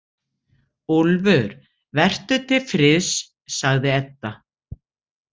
Úlfur, vertu til friðs, sagði Edda.